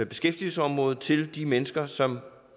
beskæftigelsesområdet til de mennesker som